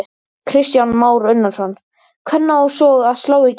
Kristján Már Unnarsson: Hvenær á svo að slá í gegn?